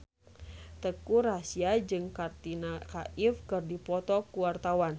Teuku Rassya jeung Katrina Kaif keur dipoto ku wartawan